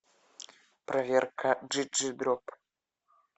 проверка джи джи дроп